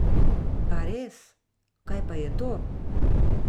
Pa res, kaj pa je to?